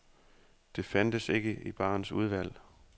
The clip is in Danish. Det fandtes ikke i barens udvalg.